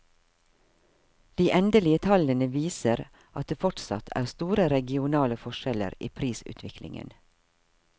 De endelige tallene viser at det fortsatt er store regionale forskjeller i prisutviklingen.